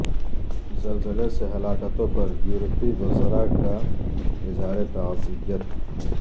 زلزلے سے ہلاکتوں پر یورپی وزراء کا اظہار تعزیت